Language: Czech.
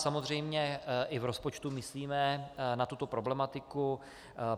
Samozřejmě i v rozpočtu myslíme na tuto problematiku.